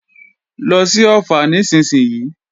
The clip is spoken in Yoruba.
Lọ sí Ọ̀ffà nísinsìnyí!